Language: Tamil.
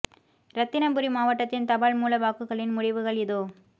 இரத்தினபுரி மாவட்டத்தின் தபால் மூல வாக்குகளின் முடிவுகள் இதோ